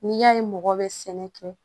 N'i y'a ye mɔgɔ bɛ sɛnɛ kɛ